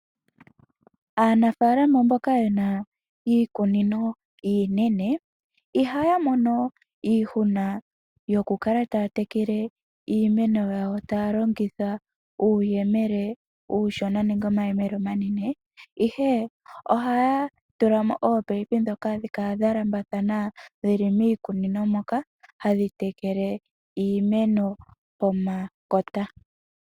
Aanafalama mboka ye na iikunino iinene, ihaya mono iihuna yokukala taya tekele iimeno yawo taya longitha uuyemele uushona nenge omayemele omanene, ihe ohaya tula mo oopaipi ndhoka hadhi kala dha lambathana dhili miikunino moka hadhi tekele iimeno pomakota.